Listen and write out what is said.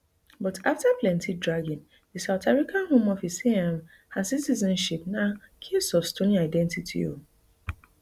but afta plenty dragging di south africa home office say um her citizenship na case of stolen identity um